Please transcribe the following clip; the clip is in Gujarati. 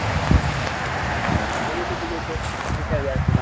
મહિના જેટલું થઇ જશે તો ને ક્યાં જાય છે?